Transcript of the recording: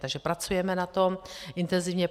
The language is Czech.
Takže pracujeme na tom intenzivně